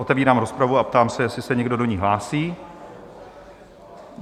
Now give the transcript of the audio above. Otevírám rozpravu a ptám se, jestli se někdo do ní hlásí?